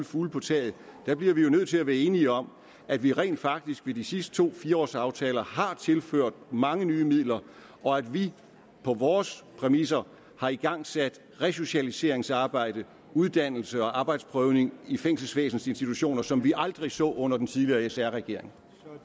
fugle på taget bliver vi jo nødt til at være enige om at vi rent faktisk i de sidste to fire års aftaler har tilført mange nye midler og at vi på vores præmisser har igangsat resocialiseringsarbejde uddannelse og arbejdsprøvning i fængselsvæsenets institutioner som vi aldrig så under den tidligere sr regering